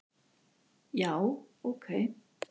Já, ok